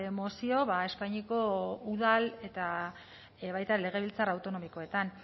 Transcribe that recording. mozio espainiako udal eta baita legebiltzar autonomikoetan